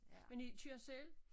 Men i kører selv?